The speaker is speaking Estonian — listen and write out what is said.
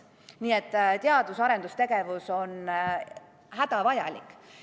Nii et teadus- ja arendustegevus on hädavajalik.